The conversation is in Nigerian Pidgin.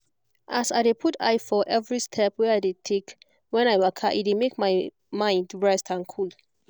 as i dey put eye for every step wey i dey take when i waka e dey make my mind rest and cool